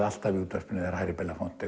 alltaf í útvarpinu þegar Harry